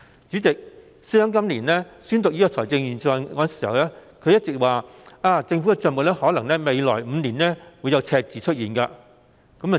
主席，司長今年宣讀預算案時，一直表示政府的帳目在未來5年可能會出現赤字。